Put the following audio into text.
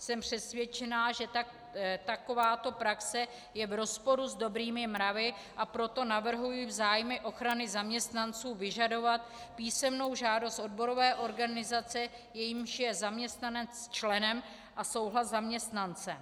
Jsem přesvědčená, že takováto praxe je v rozporu s dobrými mravy, a proto navrhuji v zájmu ochrany zaměstnanců vyžadovat písemnou žádost odborové organizace, jejímž je zaměstnanec členem, a souhlas zaměstnance.